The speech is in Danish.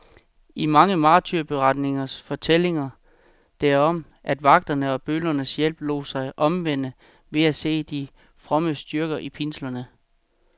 I mange martyrberetninger fortælles der om, at vagterne og bødlernes hjælpere lod sig omvende ved at se de frommes styrke i pinslerne.